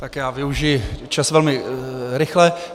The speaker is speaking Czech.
Tak já využiji čas velmi rychle.